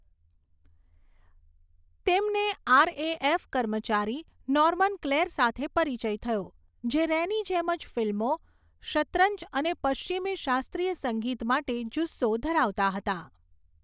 તેમને આરએએફ કર્મચારી, Norman Clare સાથે પરિચય થયો, જે રેની જેમ જ ફિલ્મો, શેતરંજ અને પશ્ચિમી શાસ્ત્રીય સંગીત માટે જુસ્સો ધરાવતા હતા.